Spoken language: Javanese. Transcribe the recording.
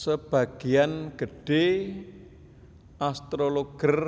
Sebagéan gedhé astrologer